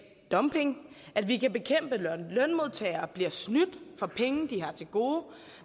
dumping at vi kan bekæmpe når lønmodtagere bliver snydt for penge de har til gode